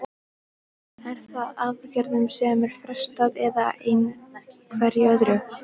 Er það í aðgerðum sem er frestað eða einhverju öðru?